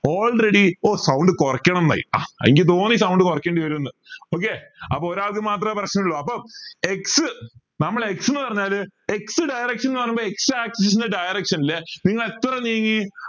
already oh sound കൊറക്കണം എനിക്ക് തോന്നി sound കുറയ്ക്കേണ്ടി വരുന്ന് okay അപ്പോ ഒരാൾക്ക് മാത്രമേ പ്രശ്നമുള്ളൂ അപ്പം X നമ്മളെ X ന്ന് പറഞ്ഞാൽ x direction ന്നു പറയുമ്പോ x axis ന്റെ direction